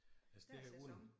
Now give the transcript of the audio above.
Der er sæson